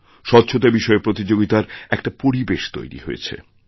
স্বচ্ছতাবিষয়ে প্রতিযোগিতার একটা পরিবেশ তৈরি হয়েছে